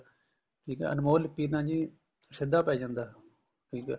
ਠੀਕ ਏ ਅਨਮੋਲ ਲਿਪੀ ਨਾ ਜੀ ਸਿੱਧਾ ਪੈ ਜਾਂਦਾ ਠੀਕ ਏ